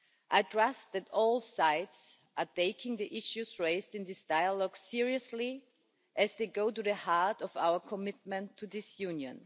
I trust that all sides are taking the issues raised in this dialogue seriously, as they go to the heart of our commitment to this Union.